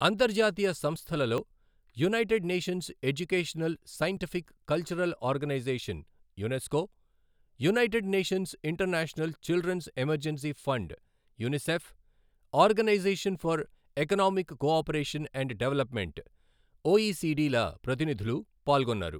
అంతర్జాతీయ సంస్థలలో United Nations Educational Scientific, Cultural Organisation UNESCO, United Nations International Children's Emergency Fund UNICEF, Organisation for Economic cooperation and development OECD ల ప్రతినిధులు పాల్గొన్నారు.